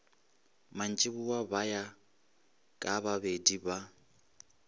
mantšiboa ba ya kabababedi ba